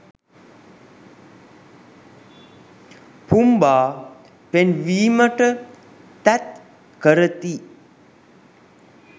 පුම්බා පෙන්වීමට තැත් කරති